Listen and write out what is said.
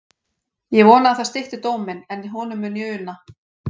Ég vona að það stytti dóm minn, en honum mun ég una.